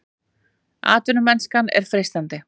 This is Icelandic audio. Atvinnumennskan er freistandi